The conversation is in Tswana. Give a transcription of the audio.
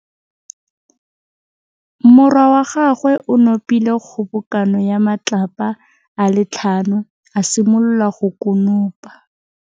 Morwa wa gagwe o nopile kgobokanô ya matlapa a le tlhano, a simolola go konopa.